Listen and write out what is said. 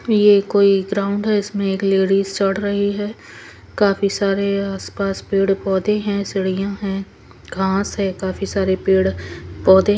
ये कोई ग्राउंड है इसमें एक लेडीज चढ़ रही है काफी सारे आसपास पेड़ पौधे हैं सिड़ियां हैं खास है काफी सारे पेड़ पौधे--